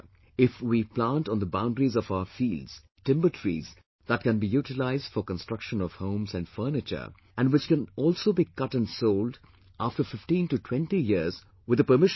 If we plant on the boundaries of our fields timber trees that can be utilised for construction of homes and furniture and which can also be cut and sold after 15 to 20 years with the permission of the government